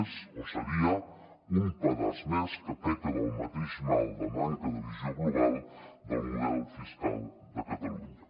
és o seria un pedaç més que peca del mateix mal de manca de visió global del model fiscal de catalunya